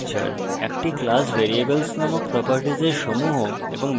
java class এর structure : একটি class